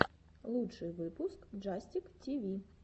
лучший выпуск джастик тиви